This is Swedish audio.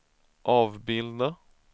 avbilda